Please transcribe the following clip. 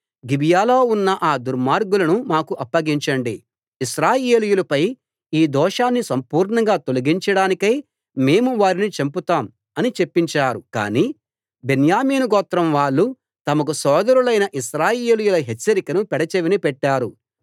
గిబియాలో ఉన్న ఆ దుర్మార్గులను మాకు అప్పగించండి ఇశ్రాయేలీయులపై ఈ దోషాన్ని సంపూర్ణంగా తొలగించడానికై మేము వారిని చంపుతాం అని చెప్పించారు కాని బెన్యామీను గోత్రం వాళ్ళు తమకు సోదరులైన ఇశ్రాయేలీయుల హెచ్చరికను పెడచెవిన పెట్టారు